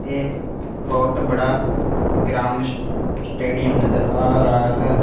एक बहुत बड़ा ग्राउंड स्टेडियम नजर आ रहा हैं।